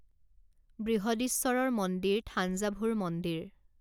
বৃহদীশ্বৰৰ মন্দিৰ থাঞ্জাভুৰ মন্দিৰ